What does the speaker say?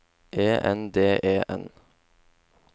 E N D E N